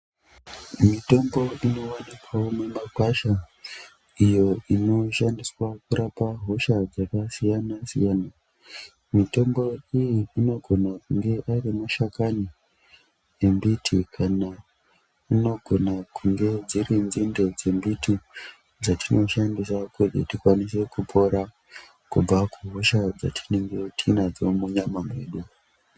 Mitombo inowanikwawo mumakwasha mitombo iyo inoshandiswa kurapa hosha dzakasiyanasiyana mitombo iyi inogona kunge ari mashakani embiti kana inogona kunge dziri nzinde dzembiti dzatinoshandisa kuti tikwanise kupora kubva kuhosha dzatinge tinadzo munyama medu.